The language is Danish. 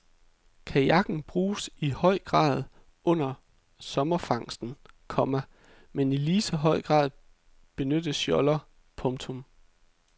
Kajakken bruges i høj grad under sommerfangsten, komma men i lige så høj grad benyttes joller. punktum